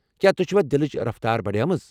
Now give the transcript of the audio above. کیا تُہۍ چھوا دلٕچ رفتار بڑیمٕژ؟